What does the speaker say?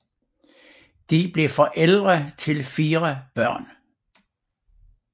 De blev forældre til fire børn